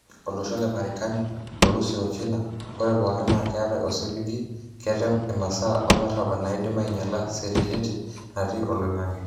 Olosho le Marekani, Urusi o China ore pokin naa ketae osiligi ketem imasaa olarabal naidim anyiala setiliti natii oloingange.